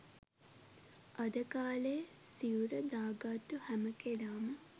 අද කාලෙ සිවුර දාගත්තු හැම කෙනාම